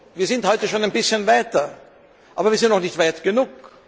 Wir sind heute schon ein bisschen weiter, aber wir sind noch nicht weit genug.